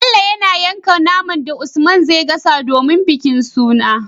Bello yana yanka naman da usman zai gasa domin bikin suna